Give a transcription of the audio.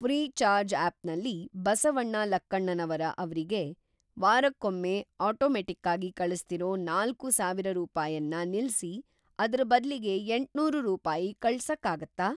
Freecharge ಆಪ್‌ನಲ್ಲಿ ಬಸವಣ್ಣ ಲಕ್ಕಣ್ಣನವರ ಅವ್ರಿಗೆ ವಾರಕ್ಕೊಮ್ಮೆ ಆಟೋಮೆಟ್ಟಿಕ್ಕಾಗಿ ಕಳಿಸ್ತಿರೋ ನಾಲ್ಕೂ ಸಾವಿರ ರೂಪಾಯನ್ನ ನಿಲ್ಸಿ, ಅದ್ರ ಬದ್ಲಿಗೆ ಎಂಟ್ನೂರು ರೂಪಾಯಿ ಕಳ್ಸಕ್ಕಾಗತ್ತಾ?